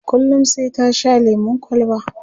kullum sai ta Sha lemun kwalba